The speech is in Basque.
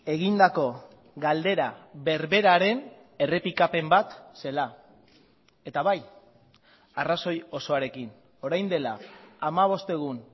egindako galdera berberaren errepikapen bat zela eta bai arrazoi osoarekin orain dela hamabost egun